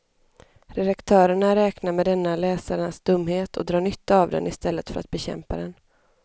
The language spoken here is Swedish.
Redaktörerna räknar med denna läsarnas dumhet och drar nytta av den i stället för att bekämpa den.